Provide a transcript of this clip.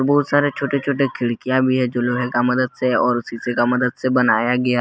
बहुत सारे छोटे छोटे खिड़कियां भी है जो लोहे का मदद से और शीशे का मदद से बनाया गया--